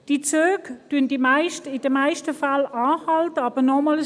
Die Züge halten in den meisten Fällen an, aber nochmals: